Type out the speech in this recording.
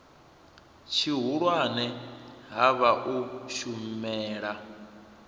tshihulwane ha vha u shumela